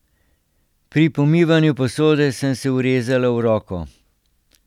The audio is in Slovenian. Pri pomivanju posode sem se urezala v roko.